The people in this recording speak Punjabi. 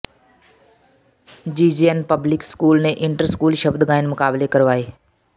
ਜੀਜੀਐੱਨ ਪਬਲਿਕ ਸਕੂਲ ਨੇ ਇੰਟਰ ਸਕੂਲ ਸ਼ਬਦ ਗਾਇਨ ਮੁਕਾਬਲੇ ਕਰਵਾਏ